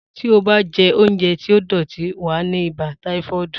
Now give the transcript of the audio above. Tí ò bá je oúnjẹ tí ó dòtí, wàá ní ibà táífọ́ọ̀dù